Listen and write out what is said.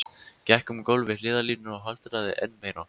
Gekk um gólf við hliðarlínuna og haltraði enn meira.